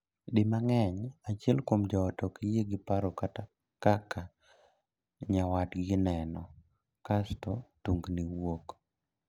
Di mang'eny, achiel kuom joot ok yie gi paro kata kaka nyawadgi neno, kasto tungni wuok.